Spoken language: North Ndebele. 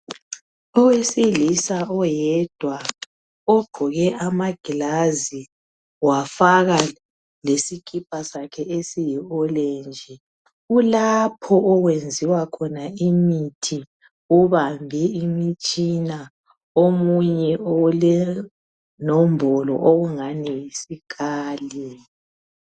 Owesilisa oyedwa ogqoke amagilazi wafaka lesikipa sakhe esiyiorange kulapho okwenziwa khona imithi ubambe imitshina omunye olenombolo okungani yosikali.